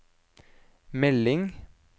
melding